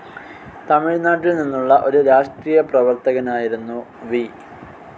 തമിഴ്നാട്ടിൽ നിന്നുള്ള ഒരു രാഷ്ട്രീയ പ്രവർത്തകനായിരുന്നു വി.